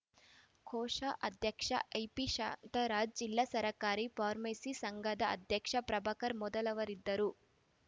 ಕೋಶಾಧ್ಯಕ್ಷ IP Shantaraj ಜಿಲ್ಲಾ ಸರ್ಕಾರಿ pharmacist ಸಂಘದ ಅಧ್ಯಕ್ಷ ಪ್ರಭಾಕರ್‌ ಮೊದಲಾದವರಿದ್ದರು